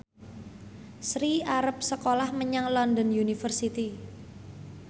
Sri arep sekolah menyang London University